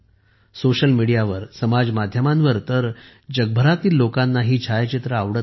social मीडियावर समज माध्यमांवर तर जगभरातील लोकांना ही छायाचित्रे आवडत आहेत